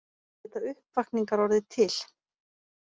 Geta uppvakningar orðið til?